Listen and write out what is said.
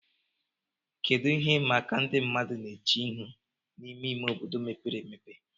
Kedu ihe ịma aka ndị mmadụ na-eche ihu n'ime ime obodo mepere emepe